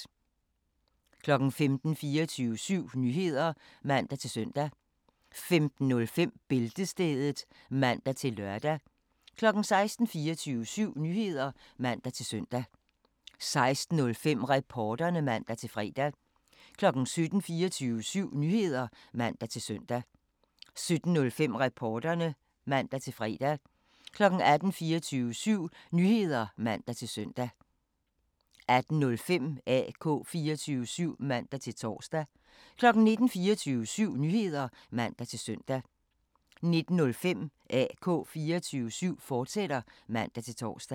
15:00: 24syv Nyheder (man-søn) 15:05: Bæltestedet (man-lør) 16:00: 24syv Nyheder (man-søn) 16:05: Reporterne (man-fre) 17:00: 24syv Nyheder (man-søn) 17:05: Reporterne (man-fre) 18:00: 24syv Nyheder (man-søn) 18:05: AK 24syv (man-tor) 19:00: 24syv Nyheder (man-søn) 19:05: AK 24syv, fortsat (man-tor)